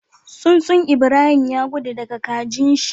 Tsuntsun Ibrahim ya gudu daka kajin shi